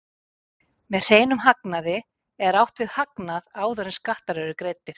Með hreinum hagnaði er átt við hagnað áður en skattar eru greiddir.